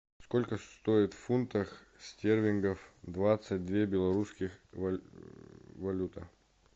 сколько стоит в фунтах стерлингах двадцать две белорусских валюта